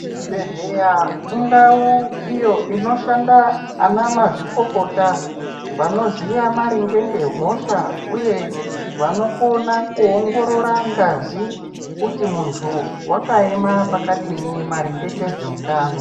Chibhehlera indau iyo inoshanda anamazvikokota, vanoziya maringe ngehosha uye vanokona kuongorora ngazi kuti munhu wakaema zvakadii maringe ngezveutaano.